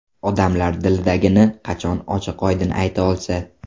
Odamlar dilidagini qachon ochiq-oydin ayta olsa.